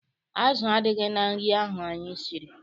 Azụ adịghị na nri ahụ anyị siri.